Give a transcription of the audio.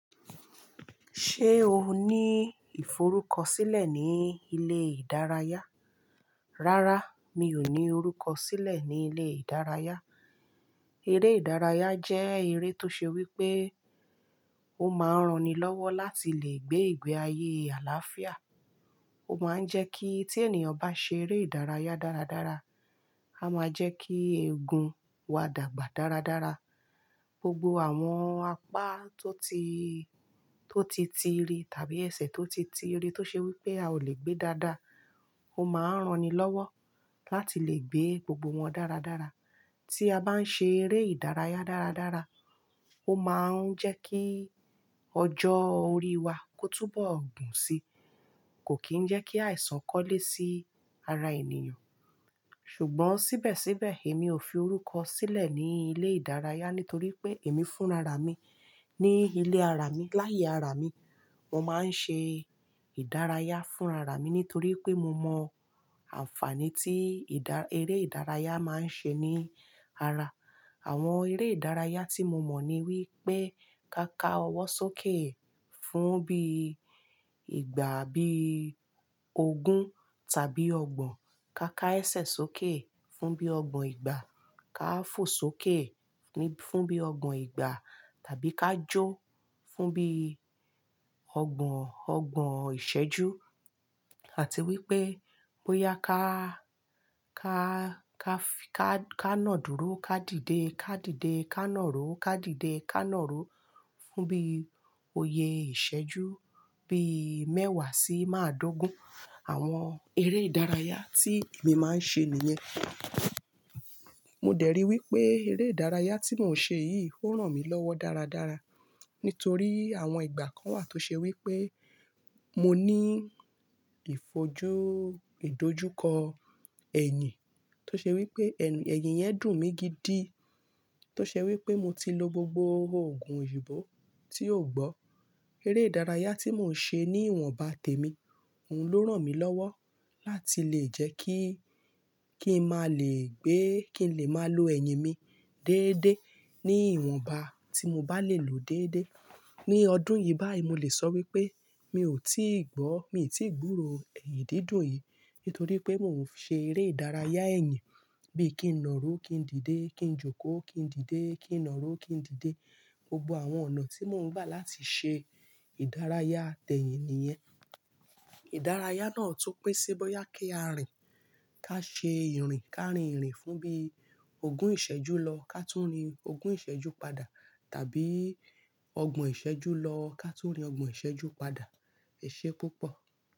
Ṣé o ní ìforúkọ sílẹ̀ ní ilé ìdárayá? Rárá, mi ò ní orúkọ sílẹ̀ ní ilé ìdárayá. Eré ìdárayá jẹ́ eré tó ṣe wí pé ó máa ń ran ni lọ́wọ́ láti lè gbé ìgbé ayé àlàáfíà. Ó máa ń jẹ́ kí tí ènìyàn bá ṣe eré ìdárayá dáradára, a máa jẹ́ kí eegun wa dàgbà dáradára. Gbogbo àwọn apá tó ti, tó ti tìrì tàbí ẹsẹ̀ tó ti tìrì tó ṣe wí pé a ò lè gbé dáadáa, ó máa ń ran ni lọ́wọ́ láti lè gbé gbogbo wọn dáradára. Tí a bá ń ṣe eré ìdárayá dáradára, ó máa ń jẹ́ kí ọjọ́ orí wa kó túbọ̀ gùn si, kò kí ń jẹ́ kí àìsàn kọ́lé sí ara ènìyàn. Ṣùgbọ́n síbẹ̀síbẹ̀, èmi ò fi orúkọ sílẹ̀ ní ilé ìdárayá nítorí pé èmi fúnra ra mi ní ilé ara mi. Láyé ara mi, mo máa ń ṣe ìdárayá fúnra ra mi nítorí pé mo mọ àǹfààní tí ìdá-- eré ìdárayá máa ń ṣe ní ara. Àwọn eré ìdárayá tí mo mọ̀ ni wípé ká ká ọwọ́ sókè fún bí ìgbà bí ogun tàbí ọgbọ́n, ká ká ẹsẹ̀ sókè fún bí ọgbọ́n ìgbà, ká fò sókè ní-- fún bí ọgbọ́n ìgbà tàbí ká jó fún bí ọgbọ́n, ọgbọ́n ìṣẹ́ju àti wípé bóyá ká, ká, ká fi ká, ká nà dúró, ká dìde, ká dìde, ká nà ro, ká dìde, ká nà ro fún bí oyè ìṣẹ́ju bí mẹ́wàá sí máa dógún. Àwọn eré ìdárayá tí èmi máa ń ṣe nìyẹn. Mo dẹ̀ rí i wípé eré ìdárayá tí mò ń ṣe yìí ó ràn mí lọ́wọ́ dáradára nítorí àwọn ìgbà kan wà tó ṣe wí pé mo ní ìfojú, ìdojúkọ ẹ̀yìn tó ṣe wí pé ẹ̀yìn yẹn dùn mí gidi. Tó ṣe wí pé mo ti lo gbogbo òògùn òyìnbó tí ò gbọ́. Eré ìdárayá tí mò ń ṣe ní ìwọ̀nba tèmi, òun ló ràn mí lọ́wọ́ láti lè jẹ́ kí, kí n máa lè gbé, kí n lè máa lo ẹ̀yìn mi déédéé ní ìwọ̀nba tí mo bá lè lò déédéé. Ni ọdún yìí báyìí, mo lè sọ wípé mi ò tíì gbọ́, mi ò tíì gbúro ẹ̀yìn dìdùn yìí nítorí pé mò ń ṣe eré ìdárayá ẹ̀yìn bí i kí n nà rú, kí n dìde, kí n jókòó, kí n dìde, kí n nà rú, kí n dìde. Gbogbo àwọn ọ̀nà tí mò ń gbà láti ṣe ìdárayá tẹ̀yìn nìyẹn. Ìdárayá náà tún pín sí bóyá kí a rìn, ká ṣe ìrìn, ká rìn ìrìn fún bí ogun ìṣẹ́ju lọ, ká tún rìn ogun ìṣẹ́ju padà, tàbí ọgbọ̀n ìṣẹ́ju lọ, ká tún rìn ọgbọ̀n ìṣẹ́ju padà. Ẹ ṣé púpọ̀.